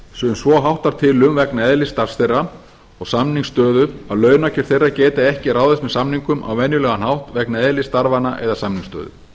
sem sem svo háttar til um vegna eðlis starfs þeirra og samningsstöðu að launakjör eiga geti ekki ráðist með samningum á venjulegan hátt vegna eðlis starfanna og samningsstöðu